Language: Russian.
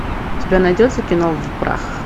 у тебя найдется кино в прах